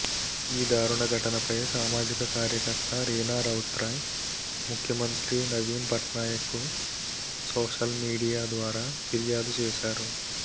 ఈ దారుణ ఘటనపై సామాజిక కార్యకర్త రీనా రౌత్రాయ్ ముఖ్యమంత్రి నవీన్ పట్నాయక్కు సోషల్మీడియా ద్వారా ఫిర్యాదు చేశారు